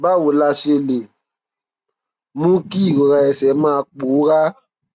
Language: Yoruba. báwo la ṣe lè mú kí ìrora ẹsè máa pòórá